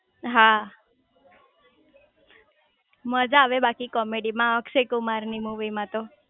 હા મજા આવે બાકી કોમેડીમાં અક્ષયકુમાર ની મુવી માં તો